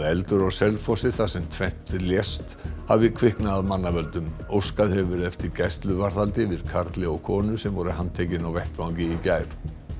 eldur á Selfossi þar sem tvennt lést hafi kviknað af mannavöldum óskað hefur verið eftir gæsluvarðhaldi yfir karli og konu sem voru handtekin á vettvangi í gær